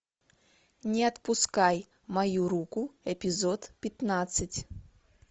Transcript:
не отпускай мою руку эпизод пятнадцать